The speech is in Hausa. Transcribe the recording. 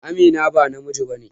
Amina ba namiji ba ne.